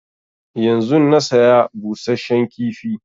Yanzun na saya busasshen kifi